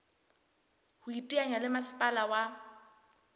ho iteanya le masepala wa